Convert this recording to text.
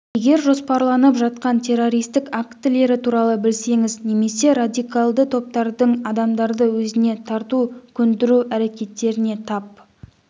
егер жоспарланып жатқан террористік актілері туралы білсеңіз немесе радикалды топтардың адамдарды өзіне тарту көндіру әрекеттеріне тап